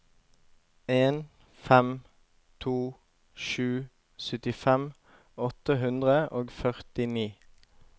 en fem to sju syttifem åtte hundre og førtini